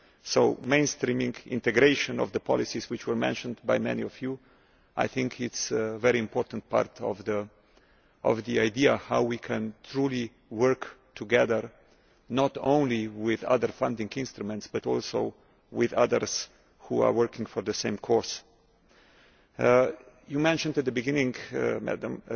So mainstreaming the integration of the policies which were mentioned by many of you is a very important part of how we can truly work together, not only with other funding instruments, but also with others who are working for the same course. You mentioned at the beginning, Madam